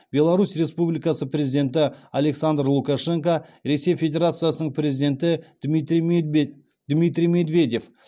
беларусь республикасы президенті александр лукашенко ресей федерациясының президенті дмитрий медведев